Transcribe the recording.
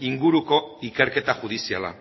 inguruko ikerketa judiziala